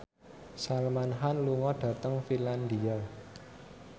Salman Khan lunga dhateng Finlandia